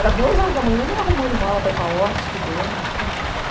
Era duas horas da manhã, eu ainda arrumando mala para ir para a ordem, estudando.